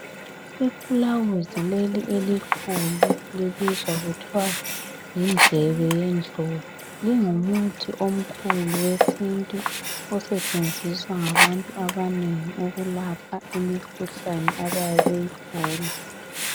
Ifulawuzi leli elikhulu, libizwa kuthwa yindlebe yendlovu. Lingumuthi omkhulu wesintu osetshenziswa ngabantu abanengi ukulapha imikhuhlane abayabe beyigula.